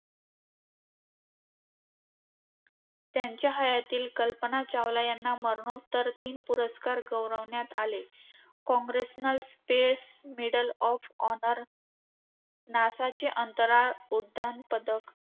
त्यांच्या हयातीत कल्पना चावला यांना मरणोत्तर तीन पुरस्कारांनी गौरविण्यात आले. Congressional space medal of honour, नासाचे अंतराळ उड्डाण पदक,